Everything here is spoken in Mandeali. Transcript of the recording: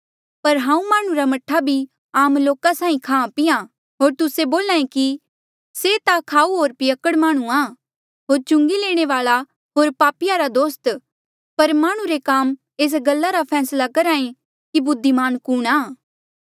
पर हांऊँ माह्णुं रा मह्ठा भी आम लोका साहीं खांहां पींहां होर तुस्से बोल्हा ऐें कि से ता खाऊ होर पियक्कड़ माह्णुंआं होर चुंगी लैणे वाल्आ होर पापिया रा दोस्त पर माह्णुं रे काम एस गल्ला रा फैसला करहे कि बुद्धिमान कुणहां